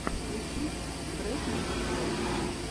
включи бретман рок